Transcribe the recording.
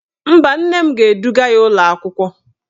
Mba, nne m ga-eduga ya ụlọakwụkwọ